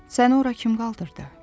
Səni ora kim qaldırdı?